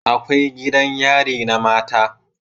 Akwai gidan yari na mata